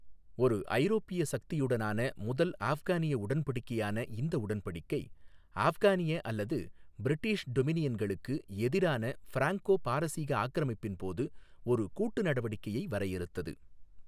ஒரு ஐரோப்பிய சக்தியுடனான முதல் ஆஃப்கானிய உடன்படிக்கையான இந்த உடன்படிக்கை, ஆஃப்கானிய அல்லது பிரிட்டிஷ் டொமினியன்களுக்கு எதிரான பிராங்கோ பாரசீக ஆக்கிரமிப்பின் போது ஒரு கூட்டு நடவடிக்கையை வரையறுத்தது.